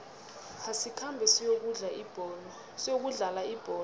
asikhambe siyokudlala ibholo